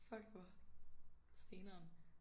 Fuck hvor steneren